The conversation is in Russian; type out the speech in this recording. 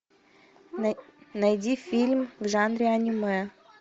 найди фильм в жанре аниме